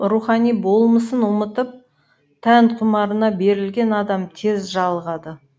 рухани болмысын ұмытып тән құмарына берілген адам тез жалығады